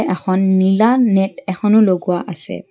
এখন নীলা নেট এখনো লগোৱা আছে।